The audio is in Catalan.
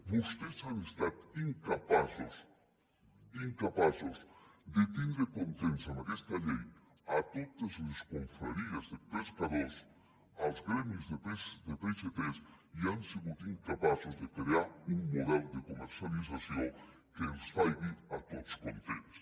vostès han estat incapaços de tindre contents amb aquesta llei totes les confraries de pescadors els gremis de peixaters i han sigut incapaços de crear un model de comercialització que els faci a tots contents